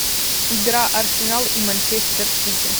игра арсенал и манчестер сити